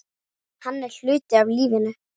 Hann er hluti af lífinu.